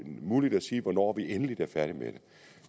muligt at sige hvornår vi endeligt er færdig med